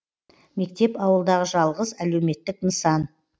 мектеп ауылдағы жалғыз әлеуметтік нысан